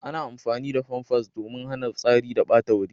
Ana amfani da famfas domin hana fitsari ya ɓata wuri.